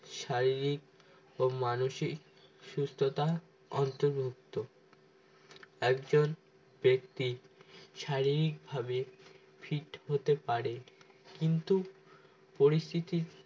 শারীরিক ও মানসিক সুস্থতা অন্তর্ভুক্ত একজন ব্যক্তি শারীরিকভাবে fit হতে পারে কিন্তু পরিস্থিতির